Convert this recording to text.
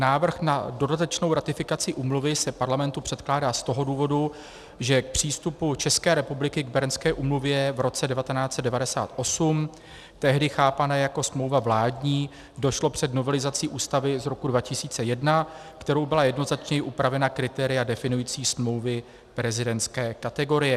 Návrh na dodatečnou ratifikaci úmluvy se Parlamentu předkládá z toho důvodu, že k přístupu České republiky k Bernské úmluvě v roce 1998, tehdy chápané jako smlouva vládní, došlo před novelizací Ústavy z roku 2001, kterou byla jednoznačněji upravena kritéria definující smlouvy prezidentské kategorie.